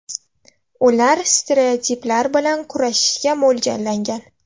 Ular stereotiplar bilan kurashishga mo‘ljallangan.